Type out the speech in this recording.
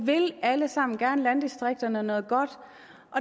alle sammen gerne landdistrikterne noget godt